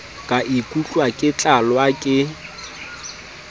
ka ikutlwa ke tlalwa ke